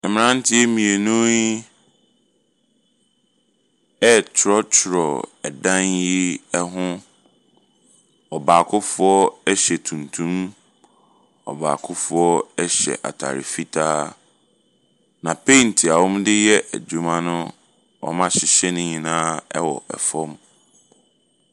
Mmeranteɛ mmienu yi retwerɛtwerɛ ɛdan yi ho. Ɔbaakofoɔ hyɛ tuntum. Ɔbaakofoɔ hyɛ atade fitaa, na paint a wɔde reyɛ adwuma no, wɔahyehyɛ ne nyinaa wɔ fam.